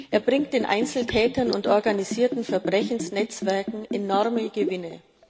Er bringt den Einzeltätern und organisierten Verbrechensnetzwerken enorme Gewinne.